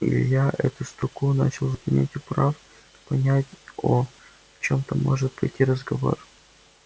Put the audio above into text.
илья эту строку начал заполнять управ понять о чём там может пойти разговор